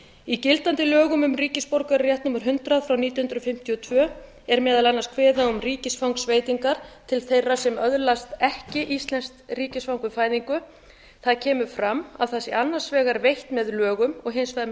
í gildandi lögum um ríkisborgararétt númer hundrað nítján hundruð fimmtíu og tvö er meðal annars kveðið á um ríkisfangsveitingar til þeirra sem öðlast ekki íslenskt ríkisfang við fæðingu þar kemur fram að það sé annars vegar veitt með lögum og hins vegar með